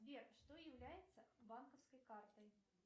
сбер что является банковской картой